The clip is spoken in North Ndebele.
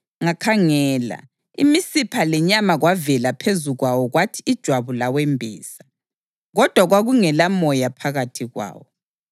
Ngakhangela, imisipha lenyama kwavela phezu kwawo kwathi ijwabu lawembesa, kodwa kwakungelamoya phakathi kwawo.